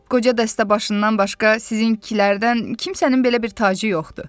qoca dəstəbaşından başqa sizinkilərdən kimsənin belə bir tacı yoxdur.